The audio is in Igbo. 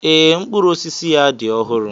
Ee, mkpụrụ osisi ya dị ọhụrụ.